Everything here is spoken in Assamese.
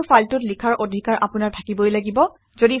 ইয়াতো ফাইলটোত লিখাৰ অধিকাৰ আপোনাৰ থাকিবই লাগিব